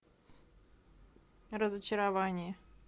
разочарование